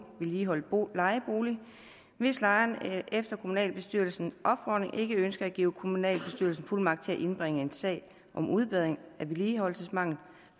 vedligeholdt lejebolig hvis lejeren efter kommunalbestyrelsens opfordring ikke ønsker at give kommunalbestyrelsen fuldmagt til at indbringe en sag om udbedring af en vedligeholdelsesmangel